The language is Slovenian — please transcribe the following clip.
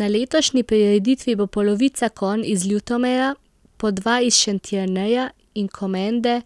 Na letošnji prireditvi bo polovica konj iz Ljutomera, po dva iz Šentjerneja in Komende,